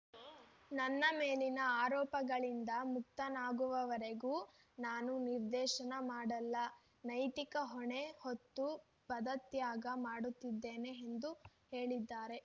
ನನ್ನ ಮೇಲಿನ ಆರೋಪಗಳಿಂದ ಮುಕ್ತನಾಗುವವರೆಗೂ ನಾನು ನಿರ್ದೇಶನ ಮಾಡಲ್ಲ ನೈತಿಕ ಹೊಣೆ ಹೊತ್ತು ಪದತ್ಯಾಗ ಮಾಡುತ್ತಿದ್ದೇನೆ ಎಂದು ಹೇಳಿದ್ದಾರೆ